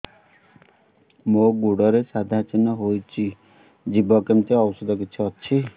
ମୋ ଗୁଡ଼ରେ ସାଧା ଚିହ୍ନ ହେଇଚି ଯିବ କେମିତି ଔଷଧ କିଛି ଅଛି